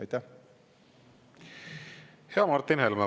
Ja Martin Helme, palun!